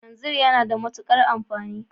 Kalanzir yana da matuƙar amfani